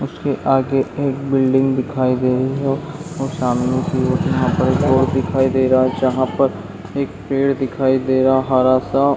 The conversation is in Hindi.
उसके आगे एक बिल्डिंग दिखाई दे रही है और सामने कि ओर यहाँ पर एक रोड दिखाई दे रहा हैं जहां पर एक पेड़ दिखाई दे रहा हैं हरा सा--